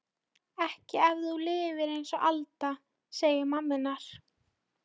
Ekki ef þú lifir einsog við Alda, segir mamma hennar.